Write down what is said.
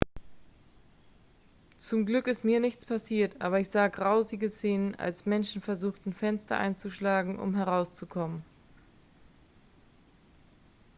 zum glück ist mir nichts passiert aber ich sah grausige szenen als menschen versuchten fenster einzuschlagen um herauszukommen